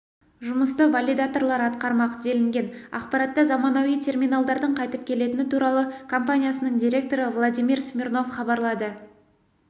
жұмысты валидаторлар атқармақ делінген ақпаратта заманауи терминалдардың қайтып келетіні туралы компаниясының директоры владимир смирнов хабарлады